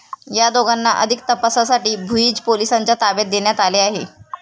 या दोघांना अधिक तपासासाठी भुईंज पोलिसांच्या ताब्यात देण्यात आले आहे.